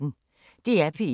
DR P1